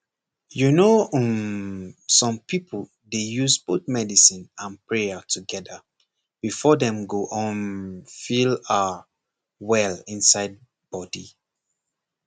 you know um some people dey use both medicine and prayer together before dem go um feel ah well inside body